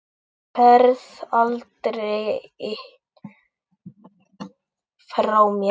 Þú ferð aldrei frá mér.